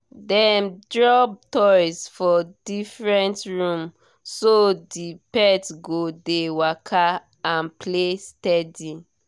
dem drop toys for different room so the pet go dey waka and play steady